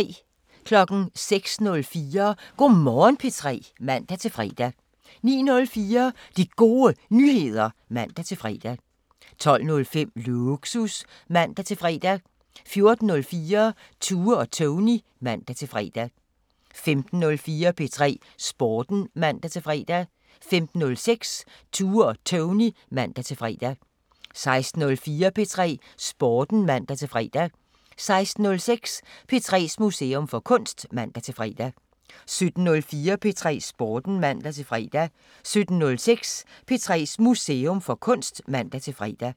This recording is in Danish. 06:04: Go' Morgen P3 (man-fre) 09:04: De Gode Nyheder (man-fre) 12:05: Lågsus (man-fre) 14:04: Tue og Tony (man-fre) 15:04: P3 Sporten (man-fre) 15:06: Tue og Tony (man-fre) 16:04: P3 Sporten (man-fre) 16:06: P3s Museum for Kunst (man-fre) 17:04: P3 Sporten (man-fre) 17:06: P3s Museum for Kunst (man-fre)